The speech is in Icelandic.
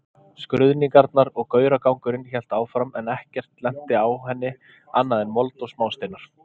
Skruðningarnar og gauragangurinn hélt áfram en ekkert lenti á henni annað en mold og smásteinar.